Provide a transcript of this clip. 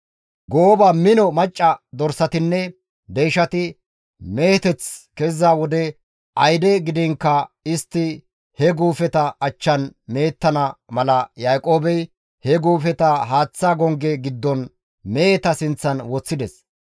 Gooba mino macca dorsatinne deyshati meheteth keziza wode ayde gidiinkka istti he guufeta achchan mehettana mala Yaaqoobey he guufeta haaththa gongge giddon meheta sinththan woththides.